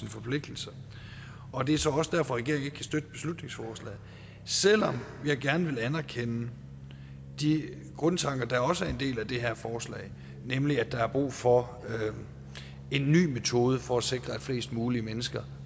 forpligtelser og det er så også derfor regeringen ikke kan støtte beslutningsforslaget selv om jeg gerne vil anerkende de grundtanker der også er en del af det her forslag nemlig at der er brug for en ny metode for at sikre at flest mulige mennesker